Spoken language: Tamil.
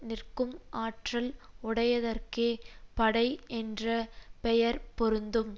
நிற்கும் ஆற்றல் உடையதற்கே படை என்ற பெயர் பொருந்தும்